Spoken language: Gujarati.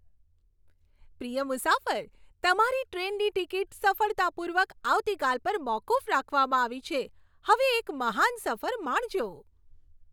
પ્રિય મુસાફર, તમારી ટ્રેનની ટિકિટ સફળતાપૂર્વક આવતીકાલ પર મોકૂફ રાખવામાં આવી છે. હવે એક મહાન સફર માણજો.